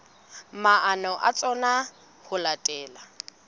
maano a tsona ho latela